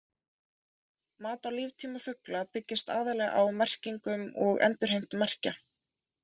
Mat á líftíma fugla byggist aðallega á merkingum og endurheimt merkja.